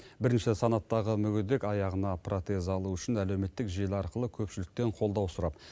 бірінші санаттағы мүгедек аяғына протез алу үшін әлеуметтік желі арқылы көпшіліктен қолдау сұрап